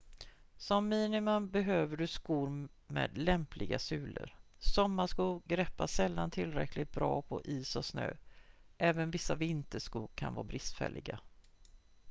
som minimum behöver du skor med lämpliga sulor sommarskor greppar sällan tillräckligt bra på is och snö även vissa vinterskor kan vara bristfälliga